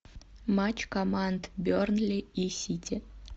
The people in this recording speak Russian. матч команд бернли и сити